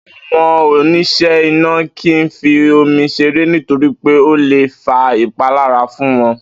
Àwo̩n onís̩è̩ iná kì í fi omi s̩eré nítorí pé ó le fa ìpalára fún won